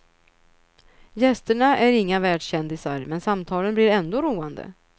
Gästerna är inga världskändisar, men samtalen blir ändå roande.